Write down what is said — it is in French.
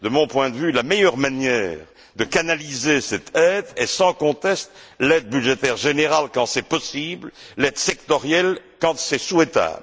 De mon point de vue, la meilleure manière de canaliser cette aide est, sans conteste, l'aide budgétaire générale quand c'est possible, l'aide sectorielle quand c'est souhaitable.